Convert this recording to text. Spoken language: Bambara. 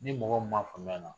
Ni mɔgɔ mun m'a faamuya na